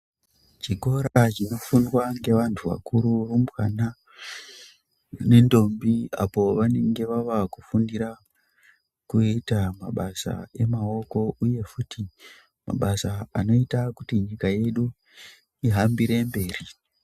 Chikora chinofundwa ngevantu vakuru arumbwana nendombi apo pavanenge vavakufundira kuita mabasa emaoko uye futi mabasa anoita kuti nyika yedu ihambire mberi.